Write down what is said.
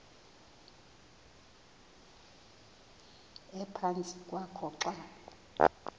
ephantsi kwakho xa